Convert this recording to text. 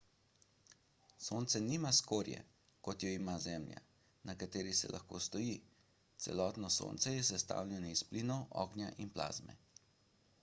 sonce nima skorje kot jo ima zemlja na kateri se lahko stoji celotno sonce je sestavljeno iz plinov ognja in plazme